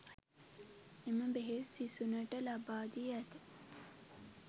එම බෙහෙත් සිසුනට ලබාදී ඇත